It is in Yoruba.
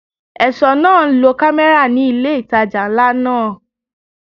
Ẹ̀ṣọ́ náà ń lo kámẹ́rà ní ilé ìtajà ńlá náà.